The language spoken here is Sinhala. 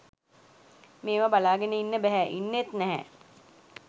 මේව බලාගෙන ඉන්න බැහැ .ඉන්නෙත් නැහැ.